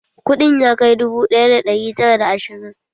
Kuɗin ya kai dubu ɗaya da ɗari tara da ashirin?